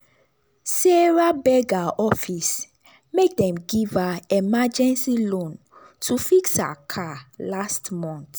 sarah beg her office make dem give her emergency loan to fix her car last month.